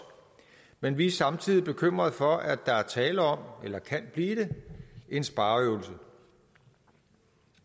men vi er samtidig bekymrede for at der er tale om eller kan blive det en spareøvelse